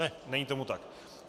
Ne, není tomu tak.